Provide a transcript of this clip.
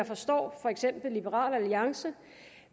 forstår liberal alliance